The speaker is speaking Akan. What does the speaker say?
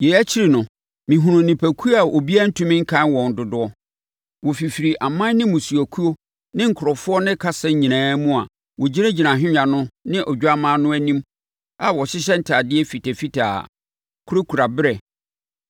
Yei akyi no, mehunuu nnipakuo a obiara ntumi nkan wɔn dodoɔ. Wɔfifiri aman ne mmusuakuo ne nkurɔfoɔ ne kasa nyinaa mu a wɔgyinagyina ahennwa no ne Odwammaa no anim a wɔhyehyɛ ntadeɛ fitafitaa, kurakura berɛ.